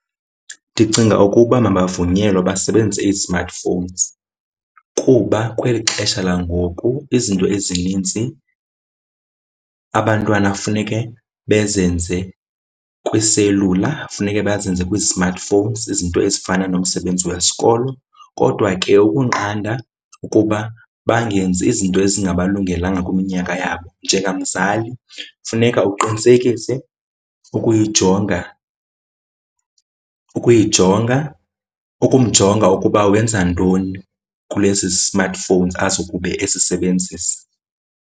Ndicinga ukuba mabavunyelwe basebenzise ii-smartphones kuba kweli xesha langoku izinto ezininzi abantwana funeke bezenze kwiiselula, funeke bazenze kwii-smartphones zizinto ezifana nomsebenzi wesikolo. Kodwa ke ukunqanda ukuba bangenzi izinto ezingalungelekanga kwiminyaka yabo, njengamzali funeka uqinisekise ukuyijonga, ukuyijonga, ukumjonga ukuba wenza ntoni kulezi smartphones azokube ezisebenzisa.